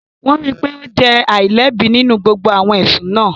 Wọ́n rí i pé ó jẹ́ aláìlẹ́bi nínú gbogbo awọn ẹsun náà